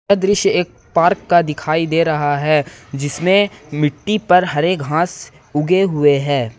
यह दृश्य एक पार्क का दिखाई दे रहा है जिसमें मिट्टी पर हरे घास उगे हुए हैं।